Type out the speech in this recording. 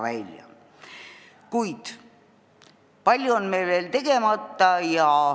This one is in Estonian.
Kuid palju on meil veel tegemata.